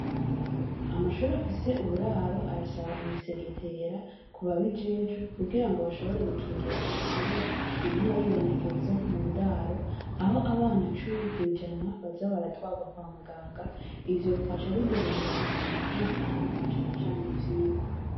Amashure afise uburaro, arasaba imisegetera ku babijejwe, kugira ngo bashobore gukingira marariya, iguma yibonekeza mu ndaro, aho abana cumi kw’ijana baza baratwarwa kwa muganga, ivyo bigaca bidurumbanya umutekano, na cane cane ivyigwa.